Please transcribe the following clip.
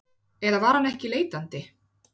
Eða var hann ekki leitandi?